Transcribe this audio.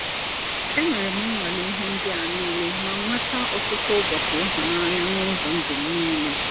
Enwerem nwalee ihe ndị a niile ma nweta ọtụtụ ụbọchị ịhụnanya n’ụzọ ndụ m niile.